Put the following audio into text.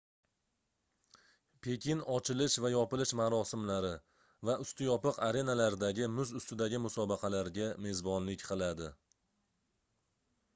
pekin ochilish va yopilish marosimlari va usti yopiq arenalardagi muz ustidagi musobaqalarga mezbonlik qiladi